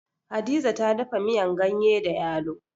Hadiza ta dafa miyan ganye da yalo.